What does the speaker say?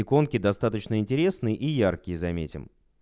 иконки достаточно интересные и яркие заметим